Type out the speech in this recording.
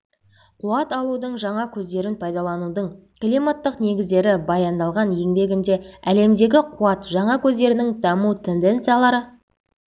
қуат алудың жаңа көздерін пайдаланудың климаттық негіздері баяндалған еңбегінде әлемдегі қуат жаңа көздерінің даму тенденциялары